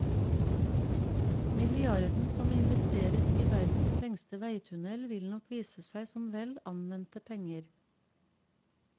Milliarden som investeres i verdens lengste veitunnel vil nok vise seg som vel anvendte penger.